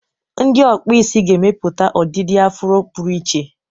Ndị ọkpụ isi ga-emepụta ọdịdị afụro pụrụ iche.